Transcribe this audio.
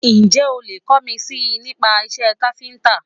Ǹjẹ́ o lè kọ́ mi si nípa iṣé káfíńtà?